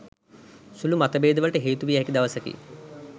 සුළු මතභේද වලට හේතු විය හැකි දවසකි